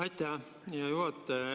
Aitäh, hea juhataja!